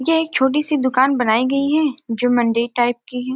यह एक छोटी सी दुकान बनाई गई है जो मंदिर टाइप की है।